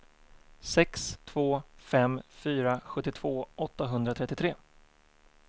sex två fem fyra sjuttiotvå åttahundratrettiotre